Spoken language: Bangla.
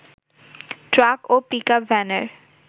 ট্রাক ও পিকআপ ভ্যানের